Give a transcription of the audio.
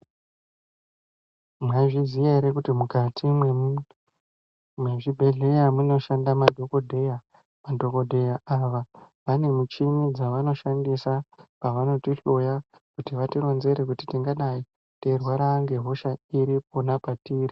Maizviziva here kuti mukati mezvibhedhlera munoshanda madhokodheya madhokodheya awa ane michini dzinoshandiswa pavanotihloya tivaronzere tingadai tichirwara nehosha iri.